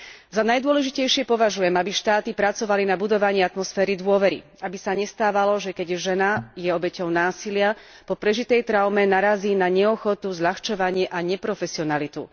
Za najdôležitejšie považujem, aby štáty pracovali na budovaní atmosféry dôvery, aby sa nestávalo, že keď žena je obeťou násilia, po prežitej traume narazí na neochotu, zľahčovanie a neprofesionalitu.